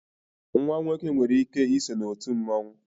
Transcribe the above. nwa nwoke nwere ike so na otu mmanwu